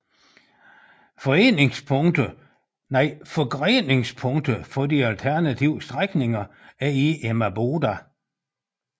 Forgreningspunktet for de alternative strækninger er i Emmaboda